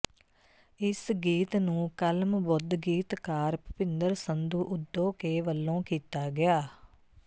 ਇਸ ਗੀਤ ਨੂੰ ਕਲਮਬੁੱਧ ਗੀਤਕਾਰ ਭੁਪਿਦੰਰ ਸੰਧੂ ਉਧੋਕੇ ਵੱਲੋ ਕੀਤਾ ਗਿਆ